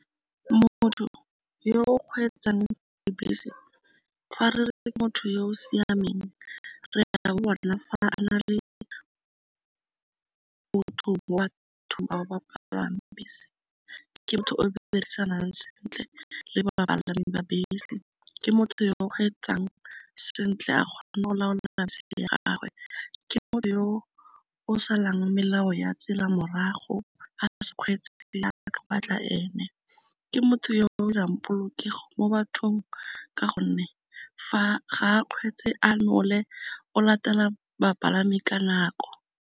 Motho yo kgweetsang dibese fa re re motho yo o siameng re a bo bona fa a na le botho bese, ke motho o be o dirisanang sentle le ba bapalami ba bese, ke motho yo o kgweetsang sentle a kgone go laola gagwe, ke o salang melao ya tsela morago a gago a ka se kgweetse batla ene, ke motho yo o dirang polokego mo bathong ka gonne ga a kgweetse a nole o latela bapalami ka nako.